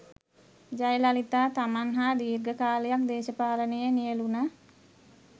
ජයලලිතා තමන් හා දීර්ඝ කාලයක් දේශපාලනයේ නියැළුණ